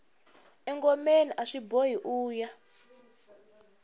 engomeni aswi boha uya